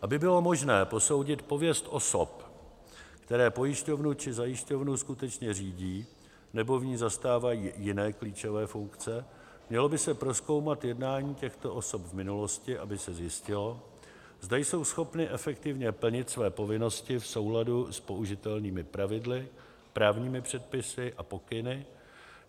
Aby bylo možné posoudit pověst osob, které pojišťovnu či zajišťovnu skutečně řídí nebo v ní zastávají jiné klíčové funkce, mělo by se prozkoumat jednání těchto osob v minulosti, aby se zjistilo, zda jsou schopny efektivně plnit své povinnosti v souladu s použitelnými pravidly, právními předpisy a pokyny.